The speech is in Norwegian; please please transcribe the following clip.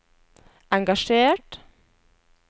engasjert